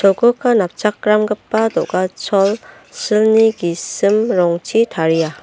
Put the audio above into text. napchakramgipa do·gachol silni gisim rongchi taria.